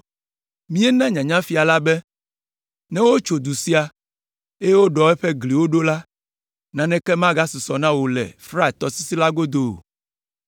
Míena nyanya fia la be, ne wotso du sia, eye woɖɔ eƒe gliwo ɖo la, naneke magasusɔ na wò le Frat tɔsisi la godo o.